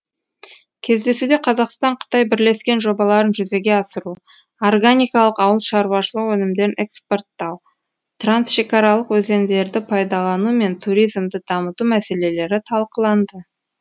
кездесуде қазақстан қытай бірлескен жобаларын жүзеге асыру органикалық ауыл шаруашылығы өнімдерін экспорттау трансшекаралық өзендерді пайдалану мен туризмді дамыту мәселелері талқыланды